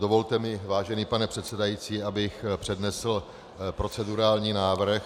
Dovolte mi, vážený pane předsedající, abych přednesl procedurální návrh -